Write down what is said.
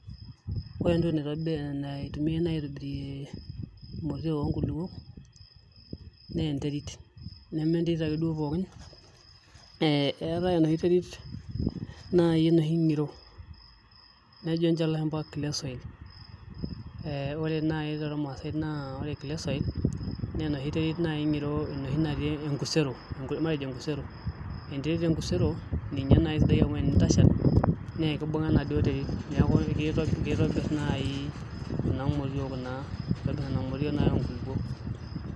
Ore entoki naaitumia naaji aaitobirie imotiook oo nkulupuok naa enterit, neme enterit ake duoo pookin, eetae enoshi terit naaji enoshi ngiro, nejo ninche ilashumba clay soil ore naaji too rmaasai na ore clay soil ,naa enterit naaji ng'iro natii naaji matejo enkusero, enterit enkusero naa ninye naaji intashal paa kibung'a enaaduo terit. Neeku keitobirr naaji kuna motiook naaji oo nkulupuok.